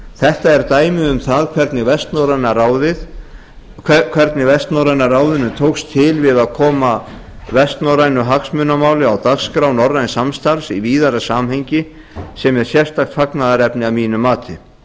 þetta er dæmi um hvernig vestnorræna ráðinu tókst til við að koma vestnorrænu hagsmunamáli á dagskrá norræns samstarfs í víðara samhengi sem er sérstakt fagnaðarefni að mínu mati